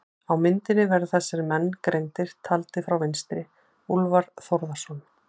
Á myndinni verða þessir menn greindir, taldir frá vinstri: Úlfar Þórðarson